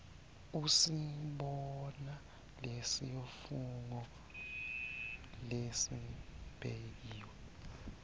usibona lesifungo lesibekiwe